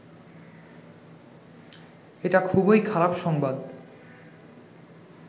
এটা খুবই খারাপ সংবাদ